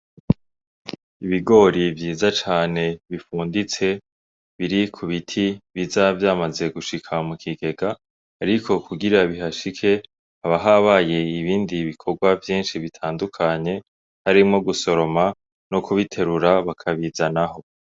Ibigori vyiza cane bifunditse biri ku biti biza vyamaze gushika mu kigega, ariko kugira bihashike haba habaye ibindi bikorwa vyinshi bitandukanye harimwo gusoroma no kubiterura bakabizanaho.